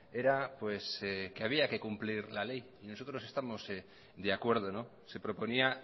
era pues que había que cumplir la ley y nosotros estamos de acuerdo se proponía